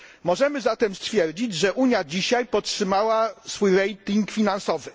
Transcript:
Możemy zatem stwierdzić, że Unia dzisiaj podtrzymała swój rating finansowy.